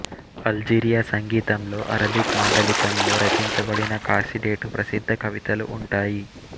Algeria సంగీతంలో Arabic మాండలికంలో రచించబడిన ఖాసిడేటు ప్రసిద్ధ కవితలు ఉంటాయి